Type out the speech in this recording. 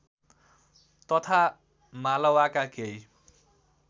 तथा मालवाका केही